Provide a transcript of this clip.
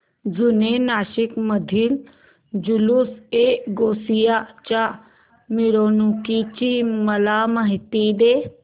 जुने नाशिक मधील जुलूसएगौसिया च्या मिरवणूकीची मला माहिती दे